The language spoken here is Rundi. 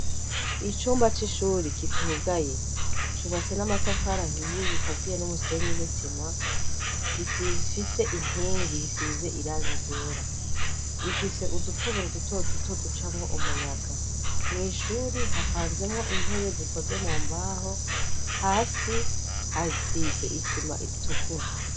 Icumba c'ishuri kitugaye cubatse n'amatafara ahiye gikaziye n'umusenyi n'isima, gifise inkingi risize iranga igera rifise udutoboro dutoro duto ducamo umuyaga mu ishuri hapanzemo intebe zikoze mu mbaho, hasi hasize isima iritukura.